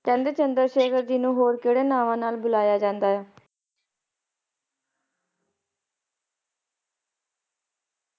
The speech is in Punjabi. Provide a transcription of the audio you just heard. ਕਹਿੰਦੇ ਚੰਦਰ ਸ਼ੇਖਰ ਜੀ ਨੂੰ ਕਹਿੰਦੇ ਨਾਂ ਨਾਲ ਬੁਲਾਇਆ ਜਾਂਦਾ ਹੈ?